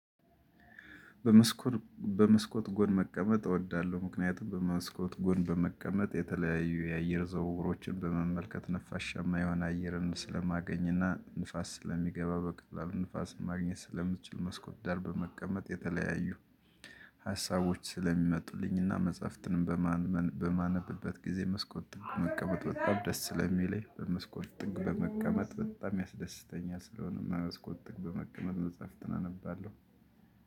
በመስኮት በመስኮት ጎን መቀመጥ እወዳለሁ። ምክንያቱም በመስኮት ጎን በመቀመጥ የተለያዩ የአየር ዝውውሮችን በመመልከት ነፋሻማ የሆነ አየርንም ስለማገኝና ንፋስ ስለሚገባ በቀላሉ ንፋስን ማግኘት ስለምችል፤ መስኮት ዳር በመቀመጥ የተለያዩ ሀሳቦች ስለሚመጡልኝና መጽሐፍትንም በማነብበት ጊዜ መስኮት ጥግ መቀመጥ በጣም ደስ ስለሚለኝ፤ በመስኮት ጥግ በመቀመጥ በጣም ያስደስተኛል። ስለሆነም በመስኮት ጥግ በመቀመጥ መጽሐፍትን አነባለሁ።